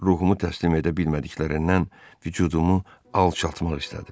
Ruhumu təslim edə bilmədiklərindən vücudumu alçaltmaq istədilər.